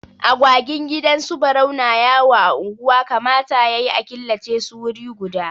Agwagin gidan su Barau na yawo a unguwa, kamata ya yi a killace su wuri guda.